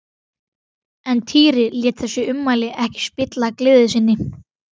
En Týri lét þessi ummæli ekki spilla gleði sinni.